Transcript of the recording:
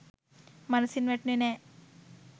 මනසින් වැටුණෙ නෑ.